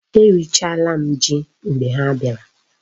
E richala m Ji mgbe ha biara